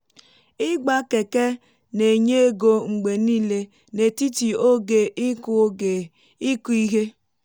ịgba keke na-enye ego mgbe niile n’etiti oge ịkụ oge ịkụ ihe